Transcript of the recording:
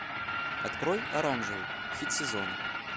открой оранжевый хит сезона